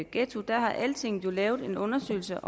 ghetto har altinget jo lavet en undersøgelse